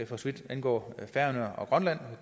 for så vidt angår færøerne og grønland